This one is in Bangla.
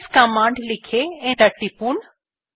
এলএস কমান্ড লিখে এন্টার টিপুন